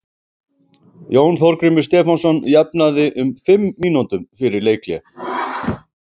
Jón Þorgrímur Stefánsson jafnaði um fimm mínútum fyrir leikhlé.